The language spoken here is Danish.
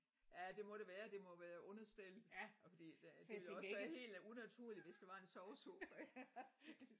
Ja det må det være det må være understel og fordi det det ville jo også være helt unaturligt hvis der var en sovesofa her